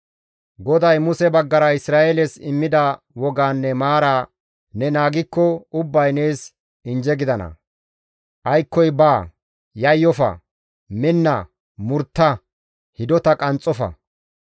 GODAY Muse baggara Isra7eeles immida wogaanne maaraa ne naagikko ubbayka nees injje gidana; aykkoy baa, yayyofa, minna, murtta, hidota qanxxofa.